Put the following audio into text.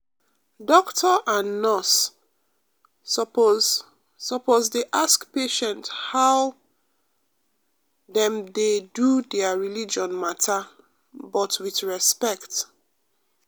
doctor and nurse um suppose suppose dey ask patient how um dem dey do their religion matter but with respect. um